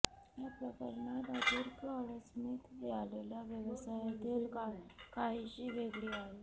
या प्रकरणात आर्थिक अडचणीत आलेल्या व्यवसायातील काहीशी वेगळी आहे